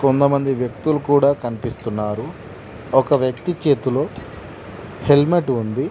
కొంతమంది వ్యక్తులు కూడా కనిపిస్తున్నారు ఒక వ్యక్తి చేతిలో హెల్మెట్ ఉంది.